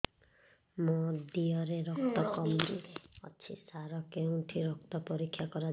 ମୋ ଦିହରେ ରକ୍ତ କମି ଅଛି ସାର କେଉଁଠି ରକ୍ତ ପରୀକ୍ଷା କରାଯାଏ